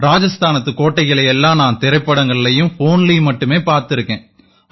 ராஜஸ்தானத்துக் கோட்டைகளை எல்லாம் நான் திரைப் படங்கள்லயும் ஃபோன்லயும் மட்டுமே பார்த்திருக்கேன்